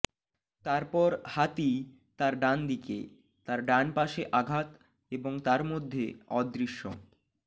তারপর হাতি তার ডানদিকে তার ডান পাশে আঘাত এবং তার মধ্যে অদৃশ্য